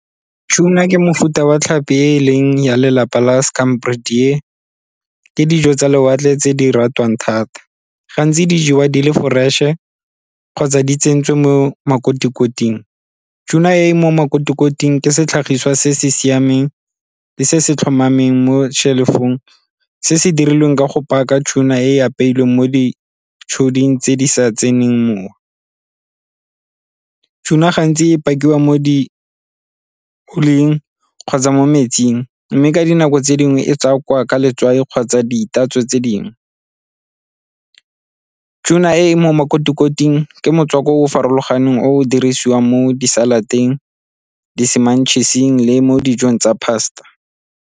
Tuna ke mofuta wa tlhapi e e leng ya lelapa la , ke dijo tsa lewatle tse di ratiwang thata. Gantsi di jewa di le fresh-e kgotsa di tsentswe mo makoti-koting. Tuna e e mo makoti-koting ke setlhagiswa se se siameng le se se tlhomameng mo shelf-ong se se dirilweng ka go paka tuna e e apeilweng mo tse di sa tseneng mowa. Tuna gantsi e pakiwa mo di kgotsa mo metsing mme ka dinako tse dingwe e tswakwa ka letswai kgotsa ditatso tse dingwe. Tuna e mo makoti-koting ke motswako o o farologaneng o dirisiwang mo di-salad-teng di le mo dijong tsa pasta.